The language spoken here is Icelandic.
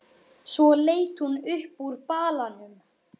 Svo leit hún upp úr balanum.